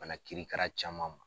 Bana krikra caman ma.